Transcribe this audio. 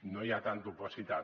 no hi ha tanta opacitat